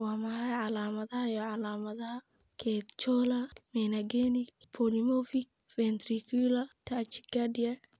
Waa maxay calaamadaha iyo calaamadaha Catecholaminergic polymorphic ventricular tachycardia?